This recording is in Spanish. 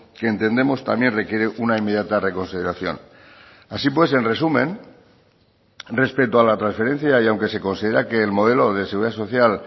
que entendemos también requiere una inmediata reconsideración así pues en resumen respecto a la transferencia y aunque se considera que el modelo de seguridad social